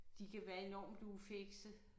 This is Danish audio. De kan være enormt ufikse